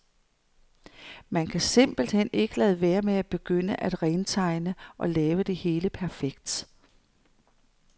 Man kan simpelt hen ikke lade være med at begynde at rentegne og lave det hele perfekt.